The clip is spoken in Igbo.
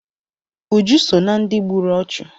Uju so ná ndị gburu ọchụ.